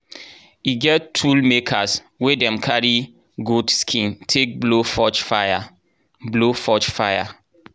e get tool makers wey dey carry goat skin take blow forge fire. blow forge fire.